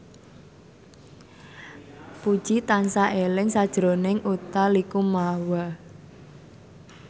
Puji tansah eling sakjroning Utha Likumahua